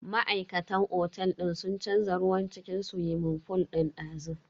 Ma'aikatan otel din sun canza ruwan cikin swimming fool din dazu.